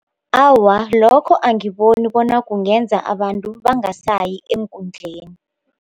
Awa, lokho angiboni bona kungenza abantu bangasayi eenkundleni.